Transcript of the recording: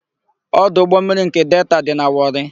Ọdụ ụgbọmmiri nke Delta dị na Wọrị.